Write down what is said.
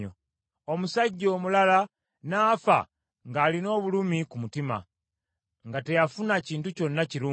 Omusajja omulala n’afa ng’alina obulumi ku mutima, nga teyafuna kintu kyonna kirungi.